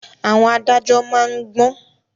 Àwọn adájọ́ má ń gbọ́n